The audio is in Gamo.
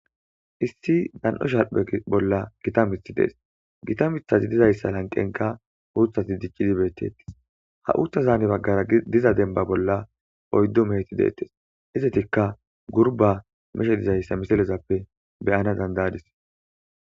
issi dan7o shalphe bolla gita mith dees gita mithazi dizayssa lanqenka uuthati diccidi beettettes ha uutha zaani baggara diza denba bolla oyddu meheti deettes izetikka gurba meshe dizayssa misalezappe beyana dandayadis